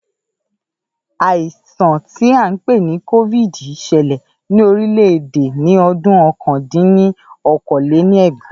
Àìsàn tí a n pè ní cóvìdì ṣẹlẹ̀ ní orílẹ̀-èdè ní ọdún ọ̀kan dín ní okòó-lé-ní-ẹgbàá